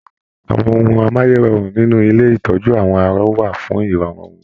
Àwọn ohùn amáyérọrùn nínú ilé itọju àwọn arọ̀ wà fún irọrun wọn.